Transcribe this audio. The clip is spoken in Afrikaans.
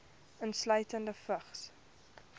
insluitende vigs